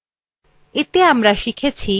এতে আমরা শিখেছি